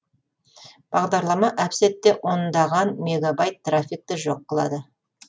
бағдарлама әп сәтте ондаған мегабайт трафикті жоқ қылады